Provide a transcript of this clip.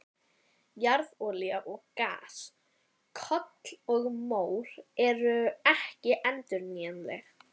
Jarðolía og gas, kol og mór eru ekki endurnýjanleg.